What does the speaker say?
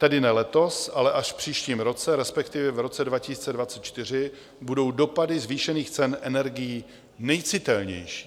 Tedy ne letos, ale až v příštím roce, respektive v roce 2024 budou dopady zvýšených cen energií nejcitelnější.